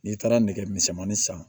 N'i taara nɛgɛmisɛnmanin san